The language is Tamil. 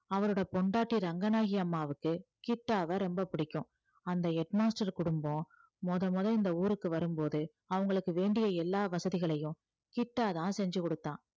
அவரோட பொண்டாட்டி ரங்கநாயகி அம்மாவுக்கு கிட்டாவை ரொம்ப பிடிக்கும் அந்த head master குடும்பம் முத முத இந்த ஊருக்கு வரும்போது அவங்களுக்கு வேண்டிய எல்லா வசதிகளையும் கிட்டாதான் செஞ்சு கொடுத்தான்